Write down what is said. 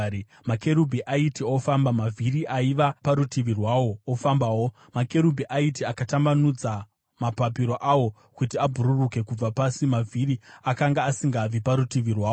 Makerubhi aiti ofamba, mavhiri aiva parutivi rwawo ofambawo; makerubhi aiti akatambanudza mapapiro awo kuti abhururuke kubva pasi, mavhiri akanga asingabvi parutivi rwawo.